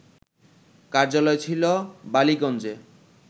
কার্যালয় ছিল বালিগঞ্জে